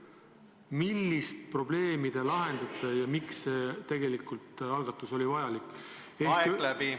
Millist probleemi te lahendate ja miks see algatus tegelikult oli vajalik?